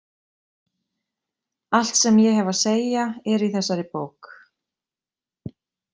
Allt sem ég hef að segja er í þessari bók.